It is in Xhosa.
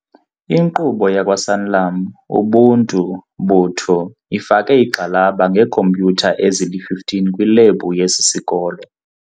Inkqubo yakwaSanlam Ubuntu botho ifake igxalaba ngeekhompyutha ezili-15 kwilebhu yesi sikolo.